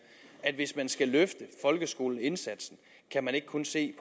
at hvis man skal løfte folkeskoleindsatsen kan man ikke kun se